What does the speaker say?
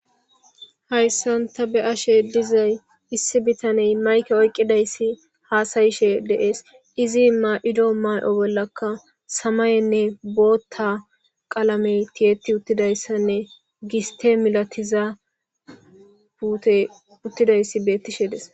hayssanta be ashe dizay issi bitaney mayke oyqqidayssi haasayishe deees izi ma7ido may7o bollakka samayenne bootta qalame tiyeti uttidayssanne giste milatiza puute uttidayssi beettishe des